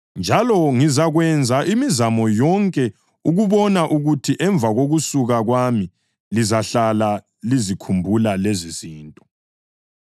Njalo ngizakwenza imizamo yonke ukubona ukuthi emva kokusuka kwami lizahlala lizikhumbula lezizinto.